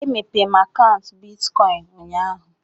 E mépéé m akaụntu bịtkọin ụnyaahụ